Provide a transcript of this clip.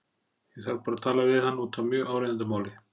Ég þarf bara að tala við hann út af mjög áríðandi máli.